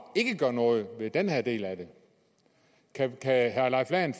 ikke gør noget ved den her del af det kan herre leif lahn